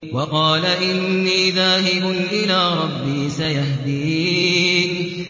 وَقَالَ إِنِّي ذَاهِبٌ إِلَىٰ رَبِّي سَيَهْدِينِ